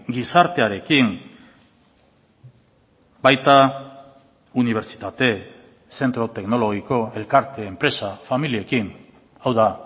gizartearekin baita unibertsitate zentro teknologiko elkarte enpresa familiekin hau da